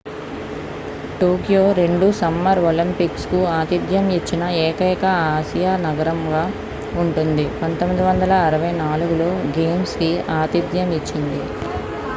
Tokyo రెండు summer Olympics కు ఆతిధ్యం ఇచ్చిన ఏకైక ఆసియా నగరంగా ఉంటుంది 1964లో గేమ్స్ కి ఆతిథ్యం ఇచ్చింది